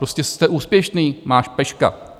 Prostě jste úspěšný, máš peška.